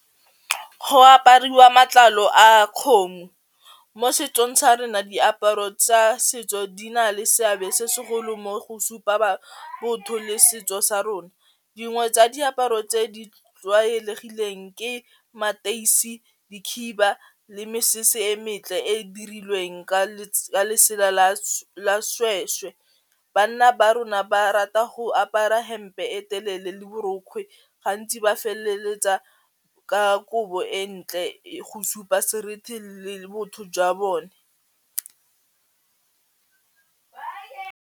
Go apariwa matlalo a kgomo mo setsong sa rona diaparo tsa setso di na le seabe se segolo mo go supa botho le setso sa rona dingwe tsa diaparo tse di tlwaelegileng ke mateisi, dikhiba le mesese e metle e e dirilweng ka letsela la sešwešwe bana ba rona ba rata go apara hempe e telele le borokgwe gantsi ba feleletsa ka kobo e ntle e go supa seriti le botho jwa bone.